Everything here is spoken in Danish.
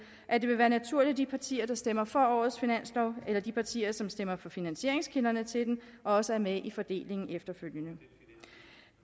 at det vil være naturligt at de partier der stemmer for årets finanslov eller de partier som stemmer for finansieringskilderne til den også er med i fordelingen efterfølgende